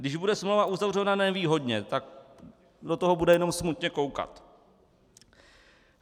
Když bude smlouva uzavřena nevýhodně, tak do toho bude jenom smutně koukat.